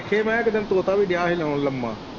ਫੇਰ ਮੈਂ ਕਿਹਾ ਇੱਕ ਦਿਨ ਤੋਤਾ ਵੀ ਦਿਆਂ ਹੀ ਲਾਉਣ ਲੰਮਾ।